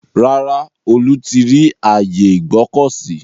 Rárá, Olú ti rí ààyè Ìgbọ̀kọ̀sí.